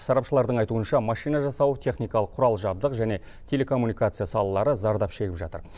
сарапшылардың айтуынша машина жасау техникалық құрал жабдық және телекоммуникация салалары зардап шегіп жатыр